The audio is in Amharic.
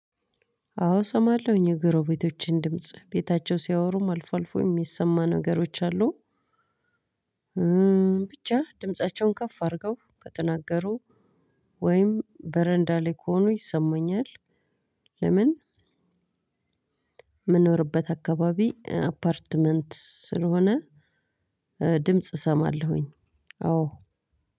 አዎ እሰማለሁኝ የጎረቤቶቼን ድምጽ ቤታቸው ሲያወሩም አልፎ አልፎ የሚሰማ ነገሮች አሉ። ብቻ ድምፃቸውን ከፍ አድርገው ከተናገሩ ወይም በረንዳ ላይ ከሆኑ ይሰማኛል። ለምን? እምኖርበት አካባቢ አፖርትመንት ስለሆነ ድምጽ እሰማለሁኝ። አዎ